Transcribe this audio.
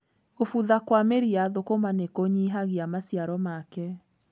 Gũbutha kwa mĩri ya thũkũma nĩ kũnyihagia maciaro make.